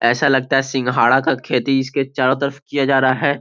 ऐसा लगता है सिंघाड़ा का खेती इसके चारों तरफ किया जा रहा है |